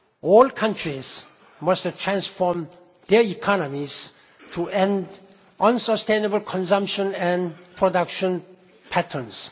All countries must transform their economies to end unsustainable consumption and production patterns.